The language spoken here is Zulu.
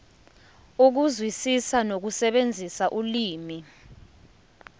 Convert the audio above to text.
ukuzwisisa nokusebenzisa ulimi